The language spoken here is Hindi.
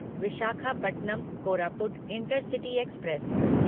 Visakhapatnam Koraput intercity express